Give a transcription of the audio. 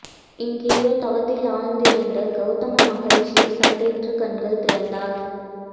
எங்கேயோ தவத்தில் ஆழ்ந்திருந்த கௌதம மஹரிஷி சட்டென்று கண்கள் திறந்தார்